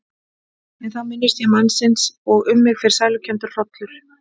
En þá minnist ég mannsins og um mig fer sælukenndur hrollur.